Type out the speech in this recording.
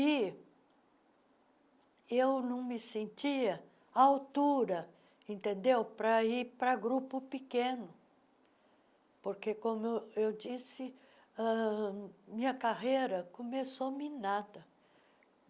E eu não me sentia à altura entendeu para ir para grupo pequeno, porque, como eu disse ãh, minha carreira começou minada.